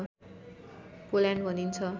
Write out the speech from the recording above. पोल्याण्ड भनिन्छ